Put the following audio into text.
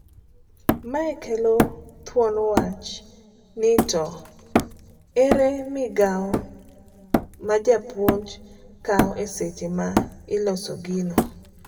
Mae kelo thuon wach nito ere migao majapuonj kawo eseche ma iloso gino,